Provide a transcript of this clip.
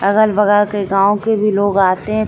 अगल-बगल के गांव के भी लोग आतें --